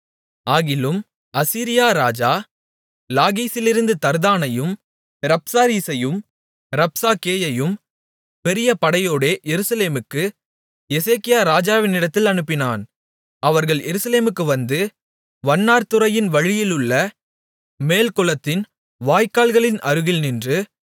ஆகிலும் அசீரியா ராஜா லாகீசிலிருந்து தர்தானையும் ரப்சாரீசையும் ரப்சாக்கேயையும் பெரிய படையோடே எருசலேமுக்கு எசேக்கியா ராஜாவினிடத்தில் அனுப்பினான் அவர்கள் எருசலேமுக்கு வந்து வண்ணார் துறையின் வழியிலுள்ள மேல்குளத்தின் வாய்க்காலின் அருகில் நின்று